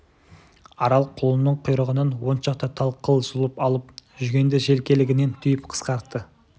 арал құлынның құйрығынан он шақты тал қыл жұлып алып жүгенді желкелігінен түйіп қысқартты